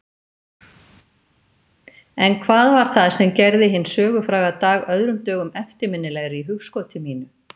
En hvað var það sem gerði hinn sögufræga dag öðrum dögum eftirminnilegri í hugskoti mínu?